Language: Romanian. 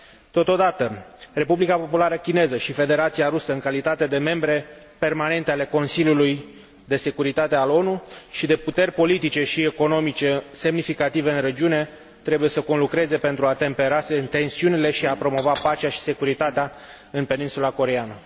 Totodată, Republica Populară Chineză și Federația Rusă, în calitate de membre permanente ale Consiliului de Securitate al ONU și de puteri politice și economice semnificative în regiune, trebuie să conlucreze pentru a tempera tensiunile și a promova pacea și securitatea în Peninsula Coreeană.